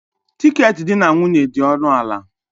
Tiketi di na nwunye dị ọnụ ala.